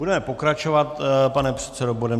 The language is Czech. Budeme pokračovat, pane předsedo, bodem